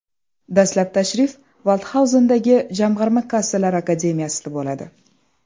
Dastlab tashrif Valdxauzendagi Jamg‘arma kassalar akademiyasida bo‘ladi.